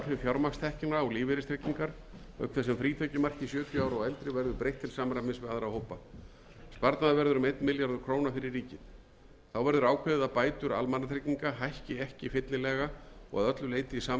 fjármagnstekna á lífeyristryggingar auk þess sem frítekjumarki sjötíu ára og eldri verður breytt til samræmis við aðra hópa sparnaður verður um einn milljarður króna fyrir ríkið þá verður ákveðið að bætur almannatrygginga hækki ekki fyllilega og að öllu leyti í samræmi við